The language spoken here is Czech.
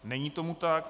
Není tomu tak.